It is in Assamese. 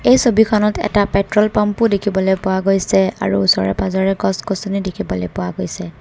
এই ছবিখনত এটা পেট্ৰল পাম্প ও দেখিবলৈ পোৱা গৈছে আৰু ওচৰে পাজৰে গছ-গছনি দেখিবলৈ পোৱা গৈছে।